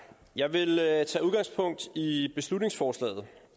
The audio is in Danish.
jeg vil tage udgangspunkt i beslutningsforslaget